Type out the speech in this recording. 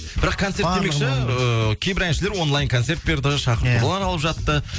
бірақ концерт демекші ііі кейбір әншілер онлайн концерт берді шақыртулар алып жатты